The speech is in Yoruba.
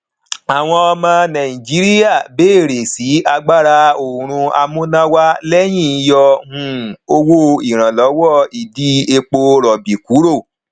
àwọn ọmọ nàìjíríà béèrè sí i agbáraoòrùn amúnáwá lẹyìn yọ um owó iranlowo ìdí epo rọbì kúrò